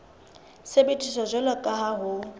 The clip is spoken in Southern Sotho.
sebediswa jwalo ka ha ho